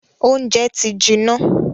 Óúnjẹ ti jiná.